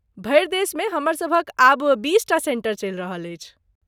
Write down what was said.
भरि देशमे हमरसभक आब बीसटा सेंटर चलि रहल अछि।